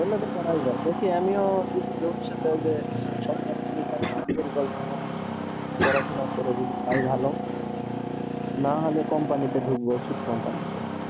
হলে তো করাই যায়, দেখি আমিও যদি ভবিষ্যতে যে সরকারি পড়াশোনা করে যদি পাই ভালো, হম নাহলে company তে ঢুকবো ওষুধ company তে